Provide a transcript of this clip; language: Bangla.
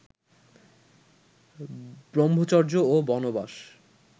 ব্রম্ভচর্য ও বনবাস